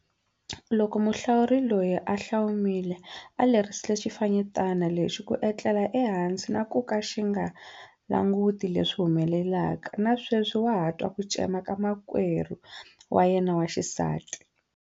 Loko muhlawuri loyi a hlaomile a lerisile xifanyetana lexi ku etlela ehansi na ku ka xi nga languti leswi humelelaka, na sweswi wa ha twa ku cema ka makwenu wa yena wa xisati.